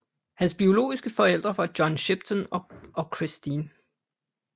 Hans biologiske forældre var John Shipton og Christine